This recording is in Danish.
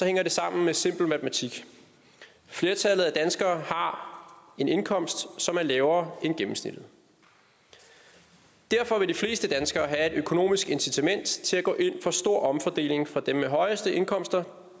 hænger det sammen med simpel matematik flertallet af danskerne har en indkomst som er lavere end gennemsnittet derfor vil de fleste danskere have et økonomisk incitament til at gå ind for stor omfordeling fra dem med de højeste indkomster